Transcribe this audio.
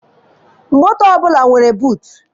Moto ọbụla nwere buutu.